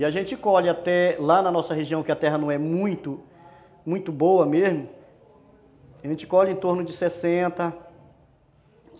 E a gente colhe até lá na nossa região que a terra não é muito, muito boa mesmo, a gente colhe em torno de sessenta